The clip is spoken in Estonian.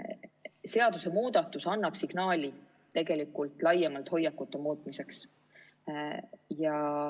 Seadusemuudatus annab signaali laiemalt hoiakute muutmiseks.